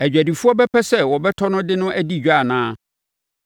Adwadifoɔ bɛpɛ sɛ wobɛtɔ no de no adi dwa anaa?